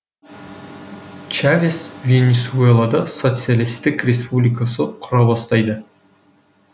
чавес венесуэлада социалистік республикасы құра бастайды